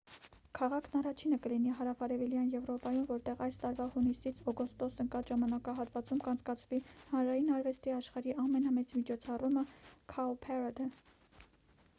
քաղաքն առաջինը կլինի հարավարևելյան եվրոպայում որտեղ այս տարվա հունիսից օգոստոս ընկած ժամանակահատվածում կանցկացվի հանրային արվեստի աշխարհի ամենամեծ միջոցառումը՝ «cowparade»-ը: